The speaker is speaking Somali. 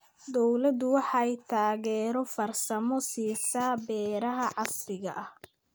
Dawladdu waxay taageero farsamo siisaa beeraha casriga ah.